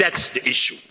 That's the issue.